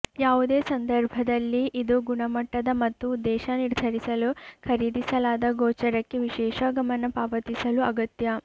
ಯಾವುದೇ ಸಂದರ್ಭದಲ್ಲಿ ಇದು ಗುಣಮಟ್ಟದ ಮತ್ತು ಉದ್ದೇಶ ನಿರ್ಧರಿಸಲು ಖರೀದಿಸಲಾದ ಗೋಚರಕ್ಕೆ ವಿಶೇಷ ಗಮನ ಪಾವತಿಸಲು ಅಗತ್ಯ